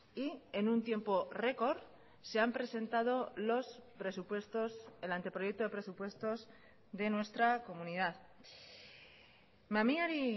y en un tiempo record se han presentado los presupuestos el anteproyecto de presupuestos de nuestra comunidad mamiari